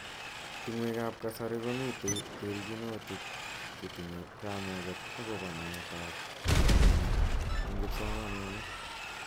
Tungwek ab kasari komitei terjinotik chetinye kamuget akobo naet ab mnyeni eng kipsomaninik.